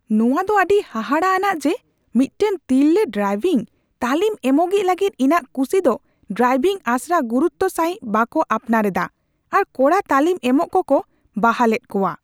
ᱱᱚᱶᱟᱫᱚ ᱟᱹᱰᱤ ᱦᱟᱦᱟᱲᱟᱜ ᱟᱱᱟᱜ ᱡᱮ ᱢᱤᱫᱴᱟᱝ ᱛᱤᱨᱞᱟᱹ ᱰᱨᱟᱭᱵᱷᱤᱝ ᱛᱟᱹᱞᱤᱢ ᱮᱢᱚᱜᱤᱡ ᱞᱟᱹᱜᱤᱫ ᱤᱧᱟᱹᱜ ᱠᱩᱥᱤ ᱫᱚ ᱰᱨᱟᱭᱵᱷᱤᱝ ᱟᱥᱲᱟ ᱜᱩᱨᱩᱛᱛᱚ ᱥᱟᱹᱦᱤᱡ ᱵᱟᱠᱚ ᱟᱯᱱᱟᱨ ᱮᱫᱟ ᱟᱨ ᱠᱚᱲᱟ ᱛᱟᱹᱞᱤᱢ ᱮᱢᱚᱜ ᱠᱚᱠᱚ ᱵᱟᱦᱟᱞ ᱮᱫ ᱠᱚᱣᱟ ᱾